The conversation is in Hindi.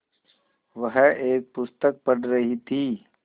वह एक पुस्तक पढ़ रहीं थी